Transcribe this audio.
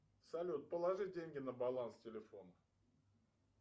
салют положи деньги на баланс телефона